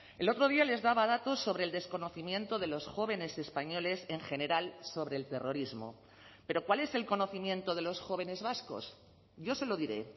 el otro día les daba datos sobre el desconocimiento de los jóvenes españoles en general sobre el terrorismo pero cuál es el conocimiento de los jóvenes vascos yo se lo diré